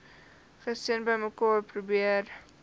gesin bymekaar probeer